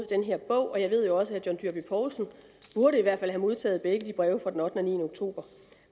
den her bog jeg ved jo også at herre john dyrby paulsen burde have modtaget begge breve fra den ottende niende oktober